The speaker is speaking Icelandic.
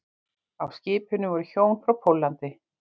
Á skipinu voru hjón frá Póllandi